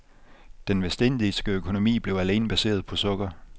Den vestindiske økonomi blev alene baseret på sukker.